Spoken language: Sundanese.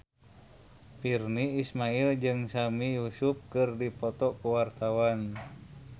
Virnie Ismail jeung Sami Yusuf keur dipoto ku wartawan